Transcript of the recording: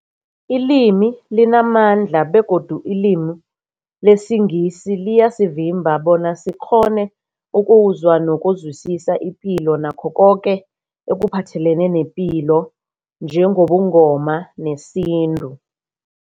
Ilimi limamandla begodu ilimi lesiNgisi liyasivimba bona sikghone ukuzwa nokuzwisisa ipilo nakho koke ekuphathelene nepilo njengobuNgoma nesintu.